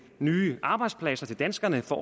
nye arbejdspladser til danskerne for